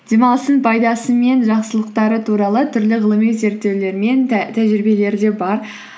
демалыстың пайдасы мен жақсылықтары туралы түрлі ғылыми зерттеулер мен тәжірибелері де бар